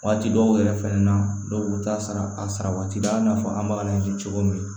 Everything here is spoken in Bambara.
Waati dɔw yɛrɛ fɛnɛ na dɔw t'a sara a sara waati la i n'a fɔ an b'a ji cogo min